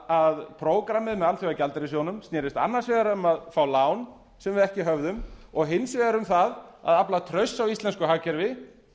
að prógrammið með alþjóðagjaldeyrissjóðnum snerist annars vegar um að fá lán sem við ekki höfðum og hins vegar um það að afla trausts á íslensku hagkerfi